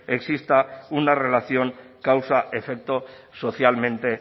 exista una relación causa efecto socialmente